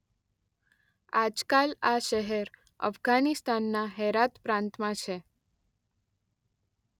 આજકાલ આ શહેર અફગાનિસ્તાનના હેરાત પ્રાંતમાં છે.